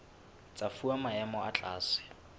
tsa fuwa maemo a tlase